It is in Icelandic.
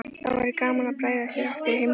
Þá væri gaman að bregða sér aftur í heimsókn.